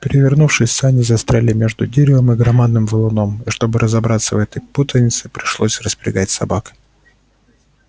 перевернувшись сани застряли между деревом и громадным валуном и чтобы разобраться во всей этой путанице пришлось распрягать собак